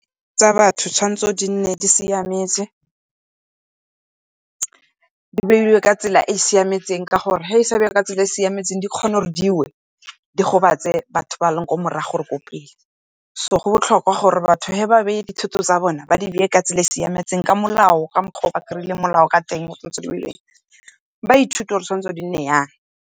Tsa batho thwanetse di nne di siametse, di beiwe ka tsela e e siametseng ka gore, ga di bewa ka tsela e e siametseng di kgone gore diwe, di gobatse batho ba leng kwa morago or ko pele. So go botlhokwa gore batho ge ba beile dithoto tsa bone ba di beye ka tsela e siametseng, ka molao ka mokgwa o ba kry-ileng molao ka teng ba ithute gore di tshwanetse di nne yang.